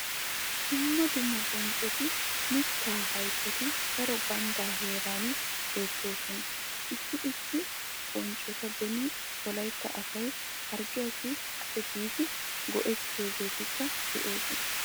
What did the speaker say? Dumma dumma bonccotinne mittaa hayttati daro ganddaa heeran beettoosona. Issi issi bonccota beni wolaytta asay harggiyassi xale giidi go'ettiyogeetikka de'oosona.